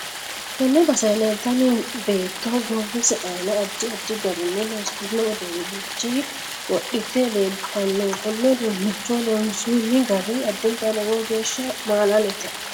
Tenne basera leeltanno beeto goowise aanna addi addi garinni loosamino uduunicho wodhite leeltaano konne uduunicho loonsooni gari addinta lowo geesha maalalete